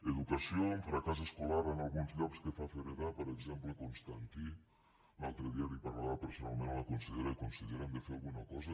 educació en fracàs escolar en alguns llocs fa feredat per exemple a constantí l’altre dia li parlava personalment a la consellera i la consellera em deia hem de fer alguna cosa